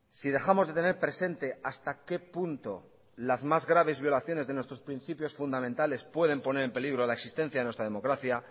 si dejamos de tener presente hasta qué punto las más graves violaciones de nuestros principios fundamentales pueden poner en peligro la existencia de nuestra democracia